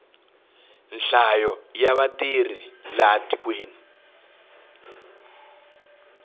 nhlayo ya vatirhi laha tikweni